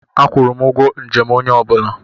Akwụrụ m ụgwọ njem onye ọ bụla.